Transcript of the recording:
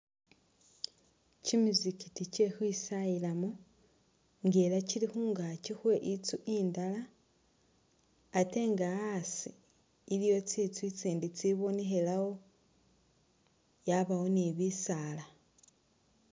Kyimizikiti kye khukhwisayilamo, nga era kyili khungakyi khwe itsu indala atenga asi iliwo tsitsu itsindi tsibonekhelawo yabawa ni bisaala.